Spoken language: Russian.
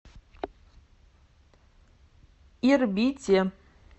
ирбите